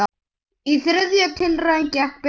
Í þriðju tilraun gekk betur.